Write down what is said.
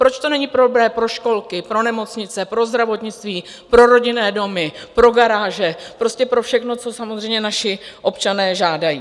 Proč to není dobré pro školky, pro nemocnice, pro zdravotnictví, pro rodinné domy, pro garáže, prostě pro všechno, co samozřejmě naši občané žádají?